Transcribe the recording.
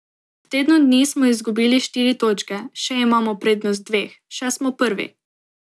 V tednu dni smo izgubili štiri točke, še imamo prednost dveh, še smo prvi.